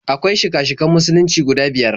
Akwai shika-shikan Musulunci guda biyar.